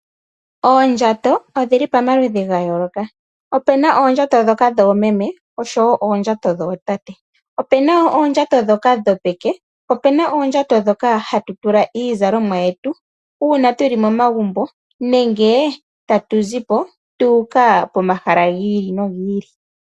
Oondjato odhili pamaludhi gayooloka. Opuna oondjato ndhoka dhoomeme oshowoo ndhoka dhootate . Opuna oondjato ndhoka dhopeke, opuna oondjato ndhoka hatu tula iizalomwa yetu uuna tuli momagumbo nenge tatu zipo tuuka pomahala giili nogiili.